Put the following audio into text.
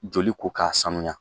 Joli ko k'a sanuya